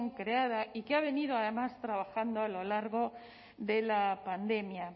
creada y que ha venido además trabajando a lo largo de la pandemia